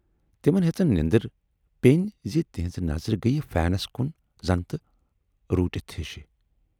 تِمن ہیژن نٮ۪ندٕر پینۍ زِ تِہٕنز نظرٕ گٔیہِ فینس کُن زَن تہِ روٗٹِتھ ہِش۔